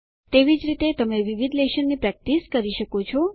તેવી જ રીતે તમે વિવિધ લેશનની પ્રેક્ટિસ કરી શકો છો